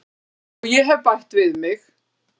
Og ég hef bætt við mig.